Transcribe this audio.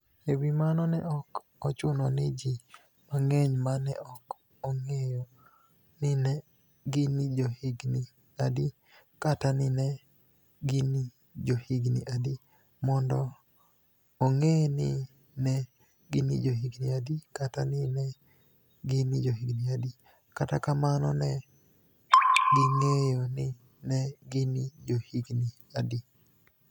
E wi mano, ni e ok ochuno nii ji manig'eniy ma ni e ok onig'eyo nii ni e gini johiginii adi kata nii ni e gini johiginii adi, monido onig'e nii ni e gini johiginii adi kata nii ni e gini johiginii adi, kata kamano, ni e ginig'eyo nii ni e gini johiginii adi.